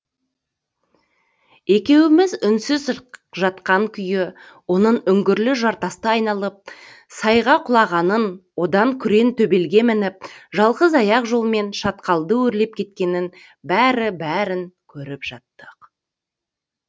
екеуіміз үнсіз жатқан күйі оның үңгірлі жартасты айналып сайға құлағанын одан күрең төбелге мініп жалғыз аяқ жолмен шатқалды өрлеп кеткенін бәрі бәрін көріп жаттық